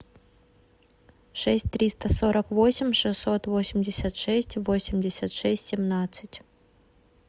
шесть триста сорок восемь шестьсот восемьдесят шесть восемьдесят шесть семнадцать